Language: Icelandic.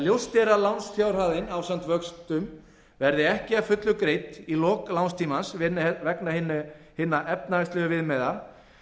ljóst er að lánsfjárhæðin ásamt vöxtum verði ekki að fullu greidd í lok lánstímans vegna hinna efnahagslegu viðmiða